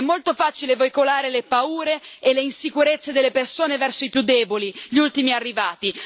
È molto facile veicolare le paure e le insicurezze delle persone verso i più deboli, gli ultimi arrivati.